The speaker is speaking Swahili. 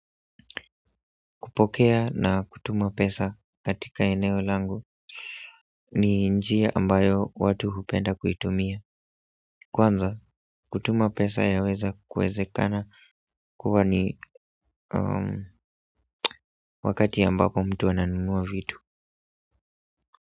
Kupokea na kutuma pesa katika eneo langu ni njia ambayo watu hupenda kuitumia. Kwanza kutuma pesa ya weza kuwezekana kuwa ni wakati ambapo mtu ananunua vitu.